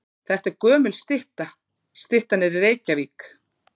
Þetta er gömul stytta. Styttan er í Reykjavík.